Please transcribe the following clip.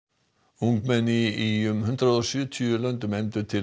ungmenni í um hundrað og sjötíu löndum efndu til